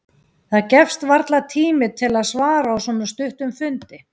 Það gefst varla tími til að svara á svona stuttum fundi.